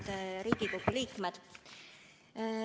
Head Riigikogu liikmed!